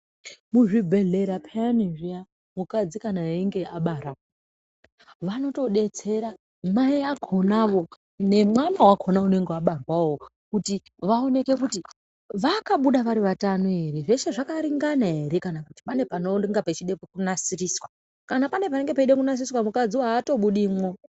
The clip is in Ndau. Muzvibhedhlera pheyani zviya, mukadzi kana einga abara, vanotodetsera mai akhonawo nemwana wakhona unenge wabarwawo, kuti vaoneke kuti vakabuda vari vatano ere, zveshe zvakaringana ere kana kuti pane panenge peide kunasiriswa. Kana pane panenge peide kunasiriswa mukadziwo aatobudimwo.